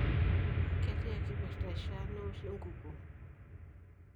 ketiaa kipirta ishiaa newoshi enkukuo?